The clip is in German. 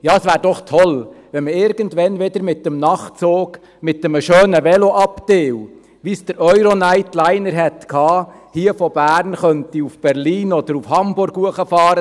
Es wäre doch toll, wenn man irgendeinmal wieder mit dem Nachtzug mit einem schönen Veloabteil, wie sie der Euro-Nightliner hatte, von Bern nach Berlin oder Hamburg fahren könnte.